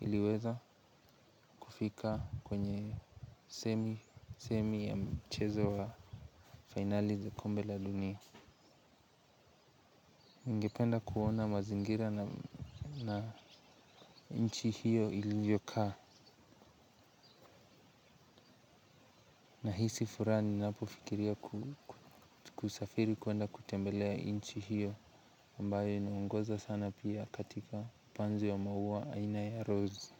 iliweza kufika kwenye semi ya mchezo wa fainali za kombe la dunia. Ningependa kuona mazingira na nchi hiyo ilivyokaa nahisi furaha ninapofikiria kusafiri kuenda kutembelea nchi hiyo ambayo inongoza sana pia katika upanzi wa maua aina ya rozi.